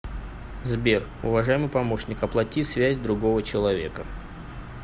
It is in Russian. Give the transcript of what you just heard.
сбер уважаемый помощник оплати связь другого человека